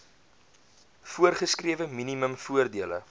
voorgeskrewe minimum voordele